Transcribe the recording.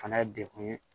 Fana ye degun ye